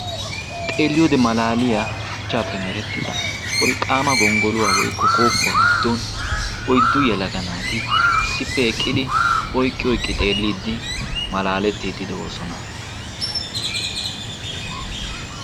xeelliyoodi malaaliyaa shuchchaappe merettida wolqqaama gonggoluwaa woykko kooppuwaa giddon oyddu yalaga naati issippe eqqidi oyqqi oyqqi xeelliiddi malaalettiiddi de'oosona